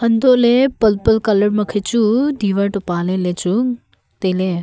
hantoh lah ley purple colour ma khe chu diwar toh pa ley chu tai ley.